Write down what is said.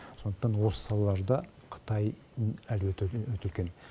сондықтан осы салаларда қытай әлеуеті өте үлкен